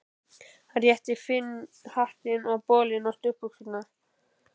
Hann rétti Finni hattinn, bolinn og stuttbuxurnar.